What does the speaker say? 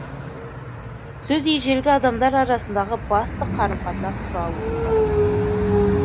сөз ежелгі адамдар арасындағы басты қарым қатынас құралы болған